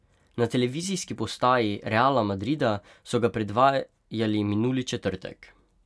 Na televizijski postaji Reala Madrida so ga predvajali minuli četrtek.